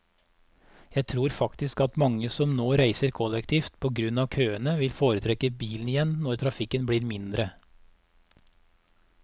Jeg tror faktisk at mange som nå reiser kollektivt på grunn av køene, vil foretrekke bilen igjen når trafikken ble mindre.